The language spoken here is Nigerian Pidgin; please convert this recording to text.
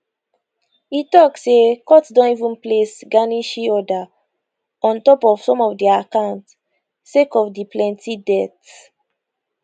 e tok say court don even place garnishee order on top of some of dia accounts sake of di plenty debt